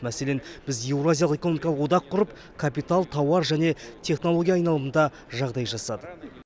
мәселен біз еуразиялық экономикалық одақ құрып капитал тауар және технология айналымында жағдай жасадық